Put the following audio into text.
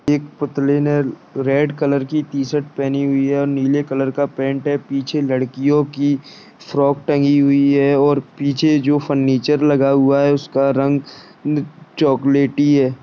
एक पुतले ने रेड कलर की टी-शर्ट पहनी हुई है और नीले कलर का पैंट है पीछे लडकियों की फ्रॉक टंगी हुई है और पीछे जो फर्नीचर लगा हुआ है उसका रंग चॉकलेटी है।